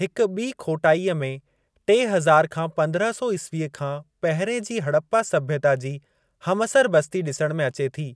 हिक ॿी खोटाईअ में टे हज़ार खां पंद्रहं सौ ईसवी खां पहिरिएं जी हड़प्पा सभ्यता जी हमअसर बस्ती ॾिसण में अचे थी।